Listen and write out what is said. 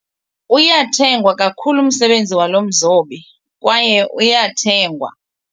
Uyathengwa kakhulu umsebenzi walo mzobi kwaye uyathengwa.